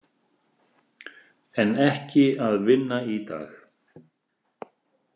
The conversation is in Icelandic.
En ekki að vinna í dag.